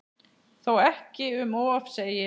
Þó ekki um of segir